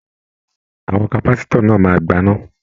Àwọn kapasitọ náà máa gbana.